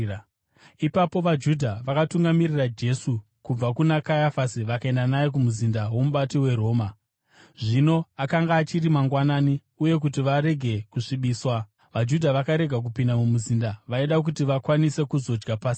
Ipapo vaJudha vakatungamirira Jesu kubva kuna Kayafasi vakaenda naye kumuzinda womubati weRoma. Zvino akanga achiri mangwanani, uye kuti varege kusvibiswa, vaJudha vakarega kupinda mumuzinda; vaida kuti vakwanise kuzodya Pasika.